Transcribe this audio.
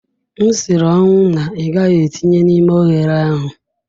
M siri ọnwụ na ị gaghị etinye n'ime oghere ahụ.